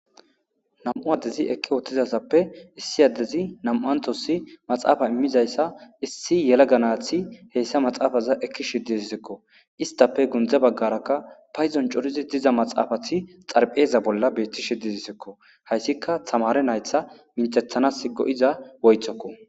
nam7u addezi ekki woottizasappe issi addezi nam7antossi maxaafa immizayssa issi yela ganaathi heeyssa maxaafaza ekki shiddisisekko istappe gundze baggarakka payzon corizi diza maxaafati xarpheeza bolla beetti shidizisekko hayssika tamare naytha minthethanas go7iza woythokko